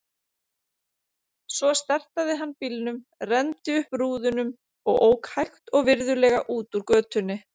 Svo startaði hann bílnum, renndi upp rúðunum og ók hægt og virðulega út úr götunni.